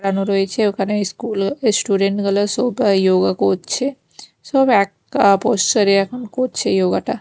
লাগানো রয়েছে ওখানে ইস্কুল ইস্টুডেন্ট গুলো সোফা ইয়োগা করছে সব এক কাপস্বরে এখন করছে ইয়োগা টা।